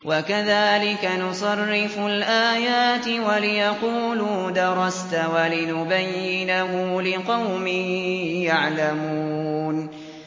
وَكَذَٰلِكَ نُصَرِّفُ الْآيَاتِ وَلِيَقُولُوا دَرَسْتَ وَلِنُبَيِّنَهُ لِقَوْمٍ يَعْلَمُونَ